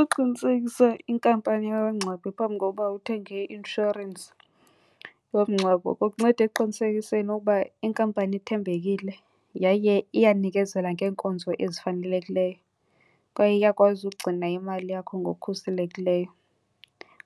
Ukuqinisekisa inkampani yabangcwabi phambi kokuba uthenge i-inshorensi yomngcwabo kukunceda ekuqinisekiseni ukuba inkampani ithembekile yaye iyanikezela ngeenkonzo ezifanelekileyo kwaye iyakwazi ukugcina imali yakho ngokukhuselekileyo.